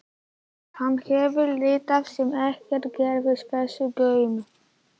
Hann hefur lítið sem ekkert gefið þessu gaum.